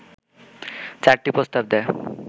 চারটি প্রস্তাব দেয়